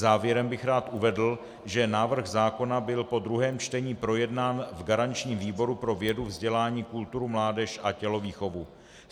Závěrem bych rád uvedl, že návrh zákona byl po druhém čtení projednán v garančním výboru pro vědu, vzdělání, kulturu, mládež a tělovýchovu.